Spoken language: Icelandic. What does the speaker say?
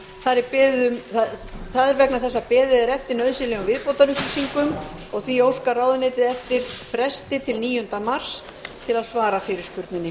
það er vegna þess að beðið er eftir nauðsynlegum viðbótarupplýsingum og því óskar ráðuneytið eftir fresti til níunda mars til að svara fyrirspurninni